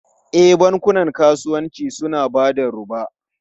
E, bankunan kasuwanci suna ba da roba.